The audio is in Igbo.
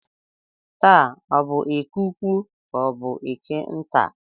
Taa ọ bụ eke ukwu ka ọ bụ eke nta?